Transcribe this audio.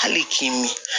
Hali kini